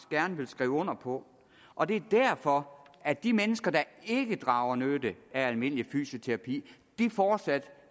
gerne vil skrive under på og det er derfor at de mennesker der ikke drager nytte af almindelig fysioterapi fortsat